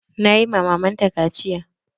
Na yi ma maman ta kaciya.